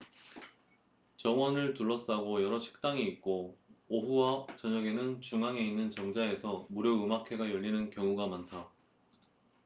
정원을 둘러싸고 여러 식당이 있고 오후와 저녁에는 중앙에 있는 정자에서 무료 음악회가 열리는 경우가 많다